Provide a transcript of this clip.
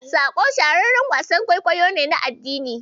"Saƙo" shahararren wasan kwaikwayo ne na addini.